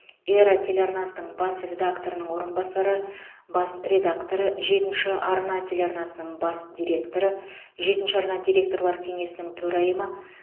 эра телеарнасының бас редакторының орынбасары бас редакторы жетінші арна телеарнасының бас директоры жетінші арна директорлар кеңесінің төрайымы